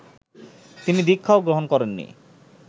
তিনি দীক্ষাও গ্রহণ করেননি